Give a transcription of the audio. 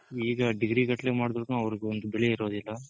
ಈಗ degree ಗಟ್ಲೆ ಮಾಡಿದ್ರುನು ಅವ್ರಿಗ್ ಒಂದ್ ಬೆಲೆ ಇರೋದಿಲ್ಲ